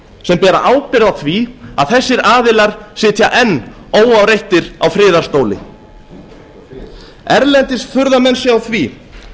sem bera ábyrgð á því að þessir aðilar sitja enn óáreittir á friðarstóli erlendis furða menn sig á því